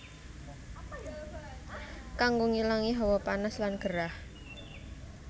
Kanggo ngilangi hawa panas lan gerah